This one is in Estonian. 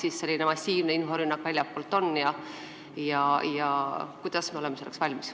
Kui jälle tuleb selline massiivne inforünnak väljastpoolt, siis kui hästi me oleme selleks valmis?